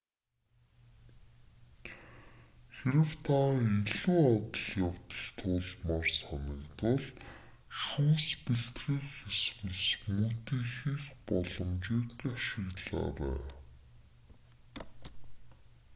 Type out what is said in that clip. хэрэв та илүү адал явдал туулмаар санагдвал шүүс бэлтгэх эсвэл смүүти хийх боломжийг ашиглаарай